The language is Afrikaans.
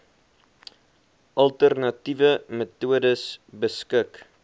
alternatiewe metodes beskik